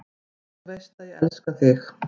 Þú veist að ég elska þig.